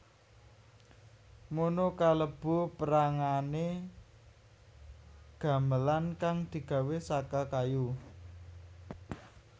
mono kalebu pérangané gamelan kang digawé saka kayu